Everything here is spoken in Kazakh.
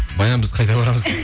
баян біз қайда барамыз